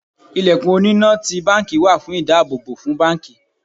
Ilẹ̀kùn oní na ti báńkì wà fún ìdáàbò fún báńkì.